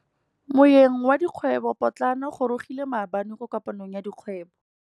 Moêng wa dikgwêbô pôtlana o gorogile maabane kwa kopanong ya dikgwêbô.